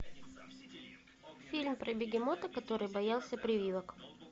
фильм про бегемота который боялся прививок